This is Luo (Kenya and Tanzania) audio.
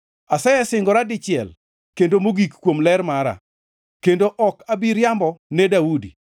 Asesingora dichiel kendo mogik kuom ler mara, kendo ok abi riambo ne Daudi,